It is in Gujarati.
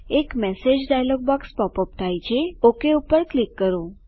એક message dialogue box pop up થાય છે ઓક પર ક્લિક કરો